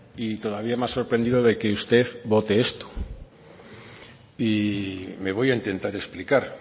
y todavía más sorprendido de que usted vote esto y me voy a intentar explicar